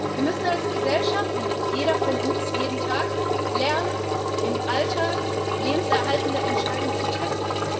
Wir müssen als Gesellschaft und jeder von uns jeden Tag lernen, im Alltag lebenserhaltende Entscheidungen zu treffen.